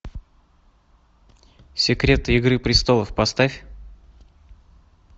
секреты игры престолов поставь